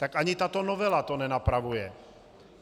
Tak ani tato novela to nenapravuje.